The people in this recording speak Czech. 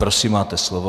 Prosím, máte slovo.